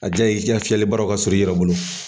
A diya ye i ka fiyɛlibaraw ka sɔrɔ i yɛrɛ bolo.